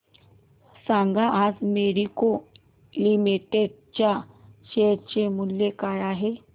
सांगा आज Marico limited च्या शेअर चे मूल्य काय आहे